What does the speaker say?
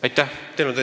Aitäh!